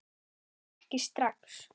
En ekki strax.